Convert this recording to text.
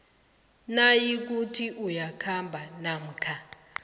nayikuthi ukhamba namkha